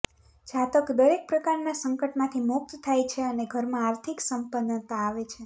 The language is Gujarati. જાતક દરેક પ્રકારના સંકટમાંથી મુક્ત થાય છે અને ઘરમાં આર્થિક સંપન્નતા આવે છે